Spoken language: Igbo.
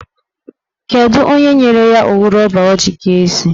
Kedụ onye nyere ya owu rọba ọ ji kee isi?